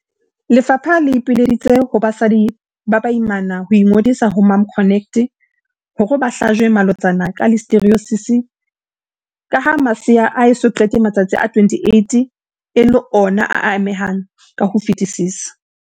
Lefapha le ipileditse ho basadi ba baimana ho ingodisa ho MomConnect hore ba hlajwe malotsana ka Listeriosis kaha masea a eso qete matsatsi a 28 e le ona a amehang ka ho fetisisa.